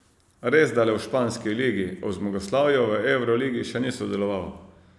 Resda le v španski ligi, ob zmagoslavju v evroligi še ni sodeloval.